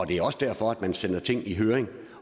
det er også derfor at man sender ting i høring